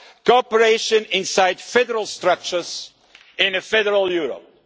cooperation inside federal structures in a federal Europe.